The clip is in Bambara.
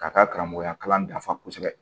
Ka taa karamɔgɔya kalan dafa kosɛbɛ